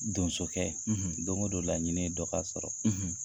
Donsokɛ, ,don go don laɲini ye dɔ ka sɔrɔ,